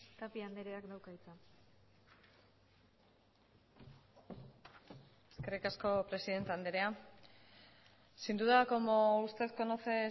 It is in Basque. tapia andreak dauka hitza eskerrik asko presidente andrea sin duda como usted conoce